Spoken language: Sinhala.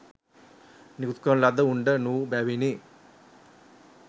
නිකුත් කරන ලද උණ්ඩ නොවූ බැවිනි